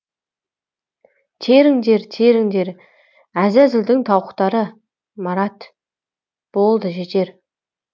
теріңдер теріңдер әзәзілдің тауықтары марат болды жетер